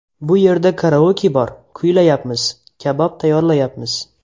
Bu yerda karaoke bor, kuylayapmiz, kabob tayyorlayapmiz.